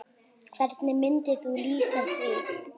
Hvernig myndir þú lýsa því?